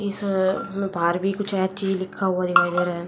इस में बाहर भी कुछ है ची लिखा हुआ दिखाई दे रहा है।